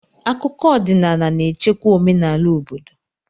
Akụkọ ọdịnaala na-echekwa omenala obodo.